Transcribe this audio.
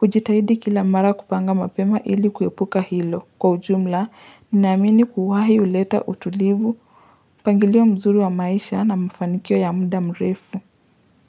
ujitahidi kila mara kupanga mapema ili kuepuka hilo Kwa ujumla, ninaamini kuwai huleta utulivu mpangilio mzuri wa maisha na mfanikio ya muda mrefu.